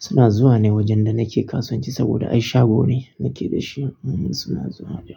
Suna zuwa ne wajen da nake kasuwanci saboda ai shago ne nake da shi. Ehn suna zuwa dai.